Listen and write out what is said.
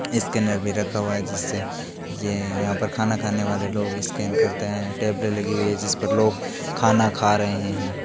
scanner भी रखा हुआ हैं जिससे ये यहाँ पर खाना खाने वाले स्कैन करते हैं टेबलें लगी हुई हैं जिस पर लोग खाना खा रहे हैं